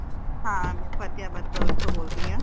ਹਾਂ ਮੈ ਫਤਿਆਬਾਦ girls ਤੋਂ ਬੋਲ ਰਹੀ ਹਾਂ